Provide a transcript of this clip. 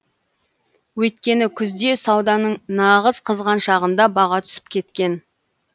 өйткені күзде сауданың нағыз қызған шағында баға түсіп кеткен